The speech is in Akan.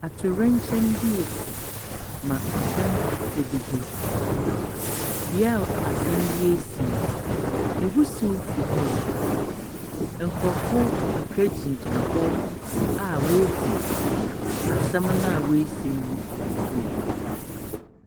Atorenkyɛm bi a asi na adan abubu beaeɛ asɛm no asi yi ɛwisie firi hɔnom reba nkurɔfoɔ kakra gyinagyina hɔ a wɔredi asɛm no a asi no ho abooboo.